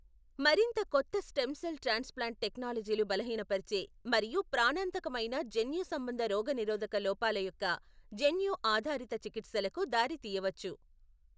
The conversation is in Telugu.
మరింత కొత్త స్టెమ్ సెల్ ట్రాన్స్ప్లాంట్ టెక్నాలజీలు బలహీనపరిచే, మరియు ప్రాణాంతకమైన జన్యు సంబంధ రోగనిరోధక లోపాల యొక్క జన్యు ఆధారిత చికిత్సలకు దారితీయవచ్చు.